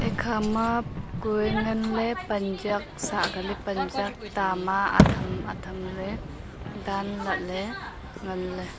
ekha ma kue ngan ley pan jak sah keli pan jak tama atham atham ley tan lah ley ngan ley.